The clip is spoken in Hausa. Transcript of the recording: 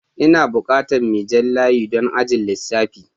Ina bukatan mai jan layi don ajin lissafi.